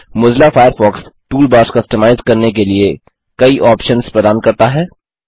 Mozilla Firefox toolbars customise करने के लिए कई ऑप्शन्स प्रदान करता है